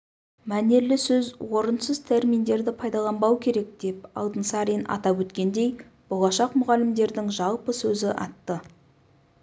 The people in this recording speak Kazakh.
мәнерлі сөз орынсыз терминдерді пайдаланбау керек деп алтынсарин атап өткендей болашақ мұғалімдердің жалпы сөзі атты